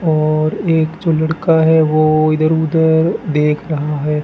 और एक जो लड़का है वो इधर उधर देख रहा है।